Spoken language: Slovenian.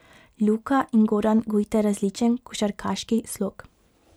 Luka in Goran gojita različen košarkarski slog.